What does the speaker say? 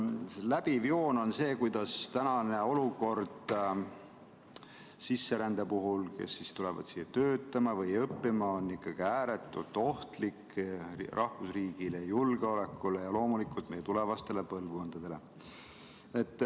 Läbiv joon on see, kuidas praegune sisserände olukord, kui tullakse siia töötama või õppima, on ikkagi ääretult ohtlik rahvusriigile, julgeolekule ja loomulikult meie tulevastele põlvkondadele.